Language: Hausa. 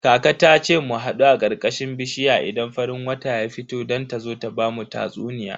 Kaka ta ce mu hadu a karkashin bishiya idan farin wata ya fito don ta zo ta bamu tatsuniya.